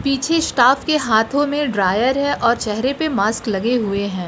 पीछे स्टाफ के हाथों में ड्रायर है और चेहरे पे मास्क लगे हुए हैं।